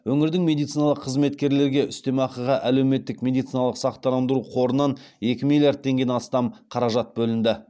өңірдің медициналық қызметкерлерге үстемеақыға әлеуметтік медициналық сақтандыру қорынан екі миллиард теңге астам қаражат бөлінді